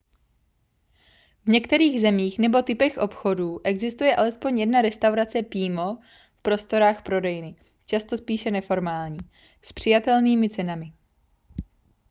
v některých zemích nebo typech obchodů existuje alespoň jedna restaurace pímo v prostorách prodejny často spíše neformální s přijatelnými cenami